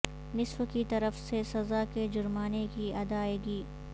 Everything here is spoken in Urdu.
نصف کی طرف سے سزا کے جرمانے کی ادائیگی